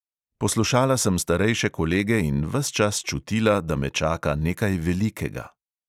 Poslušala sem starejše kolege in ves čas čutila, da me čaka nekaj velikega.